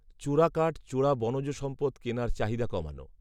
চোরা কাঠ, চোরা বনজ সম্পদ কেনার চাহিদা কমানো